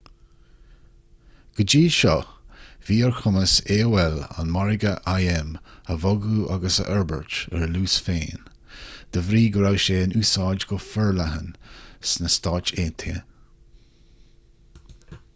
go dtí seo bhí ar chumas aol an margadh im a bhogadh agus a fhorbairt ar a luas féin de bhrí go raibh sé in úsáid go forleathan sna stáit aontaithe